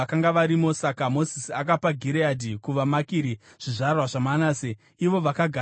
Saka Mozisi akapa Gireadhi kuvaMakiri, zvizvarwa zvaManase, ivo vakagara ikoko.